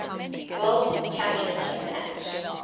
world championship match